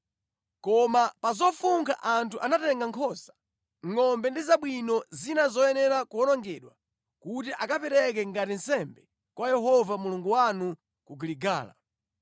Koma pa zofunkhazo anthu anatengapo nkhosa, ngʼombe ndi zabwino zina zoyenera kuwonongedwa kuti akapereke ngati nsembe kwa Yehova Mulungu wanu ku Giligala.”